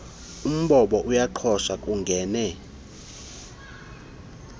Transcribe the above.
umbombo uyaqhosha kungene